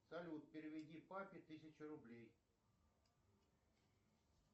салют переведи папе тысячу рублей